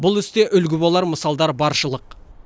бұл істе үлгі болар мысалдар баршылық